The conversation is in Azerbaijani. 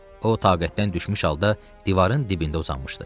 O, taqətdən düşmüş halda divarın dibində uzanmışdı.